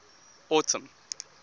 autumn